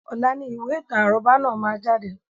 Ọ̀la ni ìwé ìtàn àrọ́bá náà má jáde